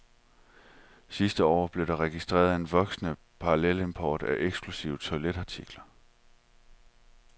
Sidste år blev der registreret en voksende parallelimport af eksklusive toiletartikler.